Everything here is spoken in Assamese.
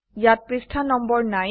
ইয়াত পৃষ্ঠা নম্বৰ নাই160